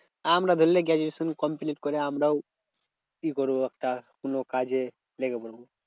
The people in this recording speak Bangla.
আমরা ধরলে গ্রাডুয়েশন complete করে আমরাও কি করবো? একটা কোনো কাজে লেগে পড়বো।